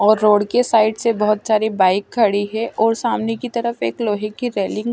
और रोड के साइड से बहुत सारी बाइक खड़ी है और सामने की तरफ एक लोहे की रेलिंग ।